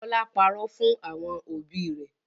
Bọlá párọ̀ fún àwọn òbí rẹ̀